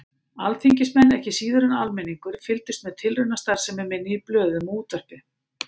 Alþingismenn, ekki síður en almenningur, fylgdust með tilraunastarfsemi minni í blöðum og útvarpi.